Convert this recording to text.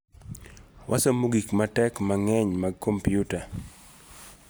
Wasomo gik matek mang'eny mag kompiuta'